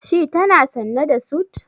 Shi tana sanye da sut.